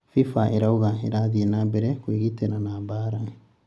FIFA ĩrauga irathii na mbere kwĩgitĩra na mbara